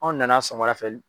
Anw nana sɔgɔmada fɛ